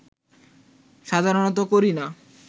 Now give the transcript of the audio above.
সাধারনত করি না